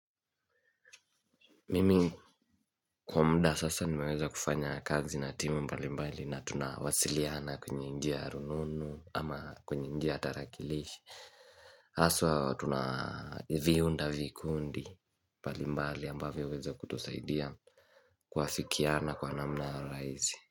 Mimi kwa mda sasa nimeweza kufanya kazi na timu mbali mbali na tunawasiliana kwenye njia ya rununu ama kwenye njia tarakilishi. Haswa tunavihuda vikundi mbali mbali ambavyo huweza kutusaidia kuhasikiana kwa namna raizi.